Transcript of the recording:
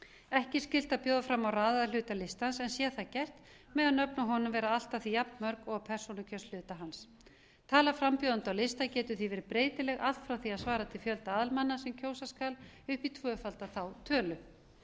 ekki er skylt að bjóða fram á raðaða hluta listans en sé það gert mega nöfn á honum vera allt að því jafnmörg og á persónukjörshluta hans tala frambjóðenda á lista getur því verið breytileg allt frá því að svara til fjölda aðalmanna sem kjósa skal upp í tvöfalda þá tölu